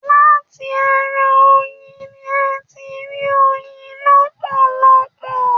Láti ará oyin ní a tí n rí oyin lọpọlọpọ.